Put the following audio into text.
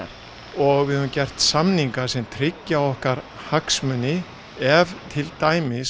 og við höfum gert samninga sem tryggja okkar hagsmuni ef til dæmis